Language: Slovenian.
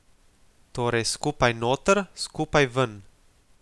Torej skupaj noter, skupaj ven.